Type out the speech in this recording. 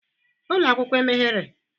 Ụlọ akwụkwọ emeghere?